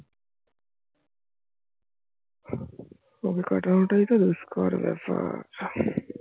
ওকে কাটানোটাই তো দুষ্কর ব্যাপার